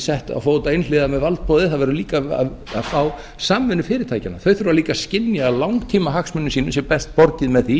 sett á fót einhliða með valdboði það verður líka frá samvinnu fyrirtækjanna þau þurfa líka að skynja að langtímahagsmunum sínum sé best borgið með því